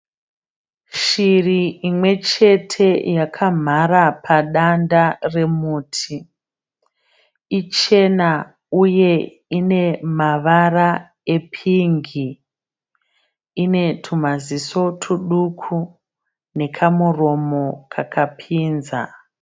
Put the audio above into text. Shiri imwe chete yakamhara padanda remuti . Ichena uye inemavara epingi. Inetumaziso tuduku nekamuromo kakapinza.